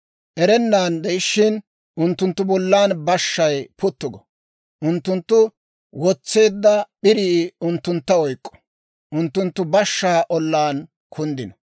Erennan de'ishiina, unttunttu bollan bashshay puttu go. Unttunttu wotseedda p'irii unttuntta oyk'k'o; unttunttu bashshaa ollaan kunddino.